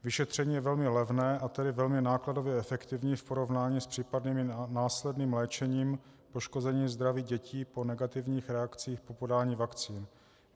Vyšetření je velmi levné, a tedy velmi nákladově efektivní v porovnání s případným následným léčením poškození zdraví dětí po negativních reakcích po podání vakcín.